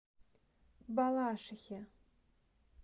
балашихе